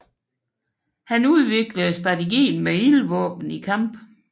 Han udviklede strategien med ildvåben i kamp